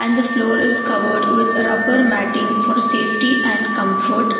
The floor is covered with rubber matting for safety and comfort.